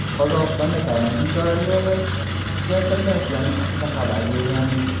Qozog‘istonda karantin choralari kuchaytirilayotgani haqida xabar bergandik.